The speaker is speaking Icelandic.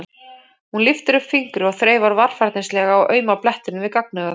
Hún lyftir upp fingri og þreifar varfærnislega á auma blettinum við gagnaugað.